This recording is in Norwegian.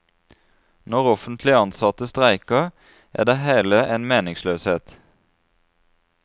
Når offentlig ansatte streiker, er det hele en meningsløshet.